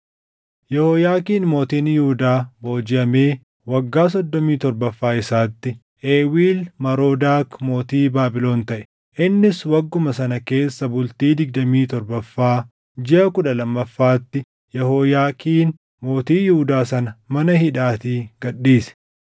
Yehooyaakiin mootiin Yihuudaa boojiʼamee waggaa soddomii torbaffaa isaatti, Eewiil Marodaak mootii Baabilon taʼe; innis wagguma sana keessa bultii digdamii torbaffaa jiʼa kudha lammaffaatti Yehooyaakiin mootii Yihuudaa sana mana hidhaatii gad dhiise.